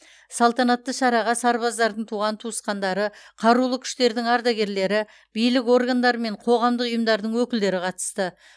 салтанатты шараға сарбаздардың туған туысқандары қарулы күштердің ардагерлері билік органдары мен қоғамдық ұйымдардың өкілдері қатысты